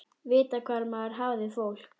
Vita hvar maður hafði fólk.